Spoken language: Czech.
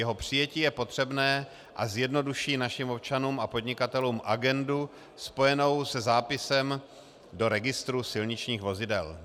Jeho přijetí je potřebné a zjednoduší našim občanům a podnikatelům agendu spojenou se zápisem do registru silničních vozidel.